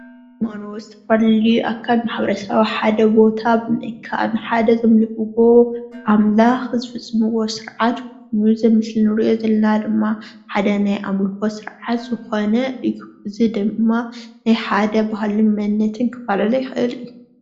እዚ ምስሊ ኣካል ማሕበረሰብ ኣብ ሓደ ቦታ ብምእካብ ሓደ ዘምልኽዎ ኣምላኽ ዝፍፅምዎ ስርዓት በዚ ምስሊ ንሪኦ ዘለና ድማ ሓደ ናይ ኣምልኾት ስርዓት ዝኾነ እዩ፡፡ እዚ ድማ ናይ ሓደ ባህልን መንነትን ክፋላለ ይኽእል እዩ፡፡